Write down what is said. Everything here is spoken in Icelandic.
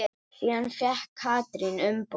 Síðan fékk Katrín umboð.